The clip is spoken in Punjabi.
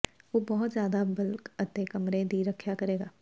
ਉਹ ਬਹੁਤ ਜ਼ਿਆਦਾ ਬਗਲ ਤੱਕ ਕਮਰੇ ਦੀ ਰੱਖਿਆ ਕਰੇਗਾ